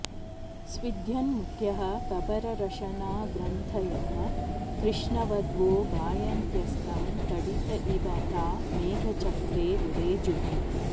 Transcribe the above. स्विद्यन् मुख्यः कबररशनाग्रन्थयः कृष्णवध्वो गायन्त्यस्तं तडित इव ता मेघचक्रे विरेजुः